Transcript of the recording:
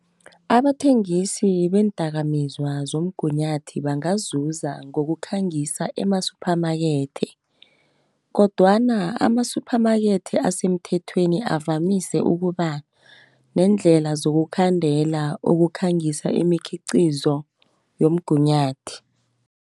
Abathengisi beendakamizwa zomgunyathi bangazuza ngokukhangisa emasumphamakethe, kodwana amasuphamakete asemthethweni avamise ukuba, neendlela zokukhandela ukukhangisa imikhiqizo yomgunyathi.